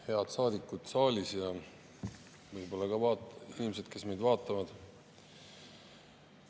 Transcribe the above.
Head saadikud saalis ja ka inimesed, kes meid võib-olla vaatavad!